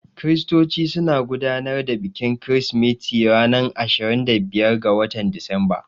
Kiristoci suna gudanar da bikin kirsimeti ranar ashirin da biyar ga watan Disamba.